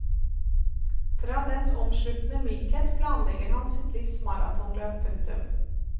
Fra dens omsluttende mykhet planlegger han sitt livs maratonløp. punktum